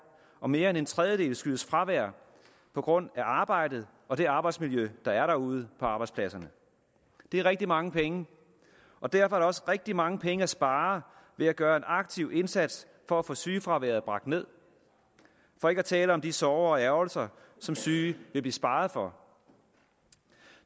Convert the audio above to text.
og mere end en tredjedel skyldes fravær på grund af arbejdet og det arbejdsmiljø der er derude på arbejdspladserne det er rigtig mange penge og derfor er der også rigtig mange penge at spare ved at gøre en aktiv indsats for at få sygefraværet bragt ned for ikke at tale om de sorger og ærgrelser som syge vil blive sparet for